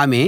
ఆమె